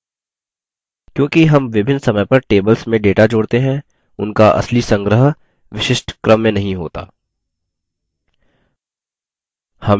क्योंकि हम विभिन्न समय पर tables में data जोड़ते हैं उनका असली संग्रह विशिष्ट क्रम में नहीं होता